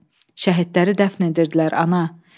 Şəhidləri dəfn edirdilər, ana.